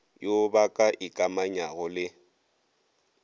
yo ba ka ikamanyago le